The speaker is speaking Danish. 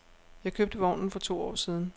Jeg købte vognen for to år siden.